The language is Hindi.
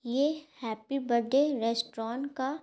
ये हैप्पी बड्डे रेस्टोरांट का--